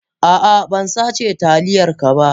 A'a bansace taliyar ka ba.